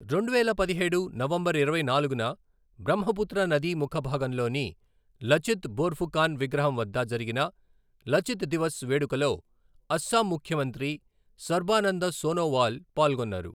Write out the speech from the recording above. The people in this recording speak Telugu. రెండువేల పదిహేడు నవంబర్ ఇరవై నాలుగున బ్రహ్మపుత్ర నదీ ముఖ భాగంలోని లచిత్ బోర్ఫుకాన్ విగ్రహం వద్ద జరిగిన లచిత్ దివస్ వేడుకలో అస్సాం ముఖ్యమంత్రి సర్బానంద సోనోవాల్ పాల్గొన్నారు.